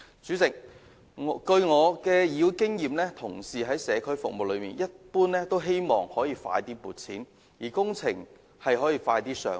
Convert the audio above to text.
主席，根據我在議會的經驗，同事在社區服務方面一般都希望更快獲得撥款，以及工程可以加快"上馬"。